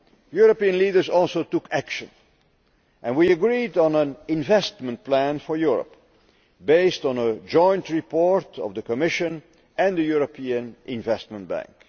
European leaders also took action and we agreed on an Investment Plan for Europe, based on a joint report by the Commission and the European Investment Bank.